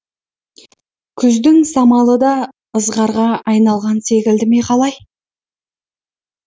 күздің самалы да ызғарға айналған секілді ме қалай